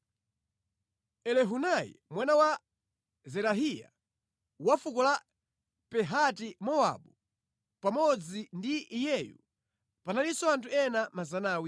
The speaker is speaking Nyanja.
Elihunai mwana wa Zerahiya, wa fuko la Pahati-Mowabu. Pamodzi ndi iyeyu panalinso anthu ena 400.